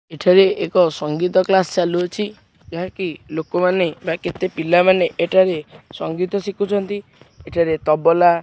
ଏଠାରେ ଏକ ସଙ୍ଗୀତ କ୍ଲାସ୍ ଚାଲୁଅଛି ଏହାକି ଲୋକମାନେ ବା କେତେ ପିଲାମାନେ ଏଠାରେ ସଙ୍ଗୀତ ଶିଖୁଛନ୍ତି ଏଠାରେ ତବଲା।